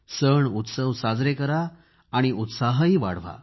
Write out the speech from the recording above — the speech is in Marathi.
सण उत्सव साजरे करा आणि उत्साहही वाढवा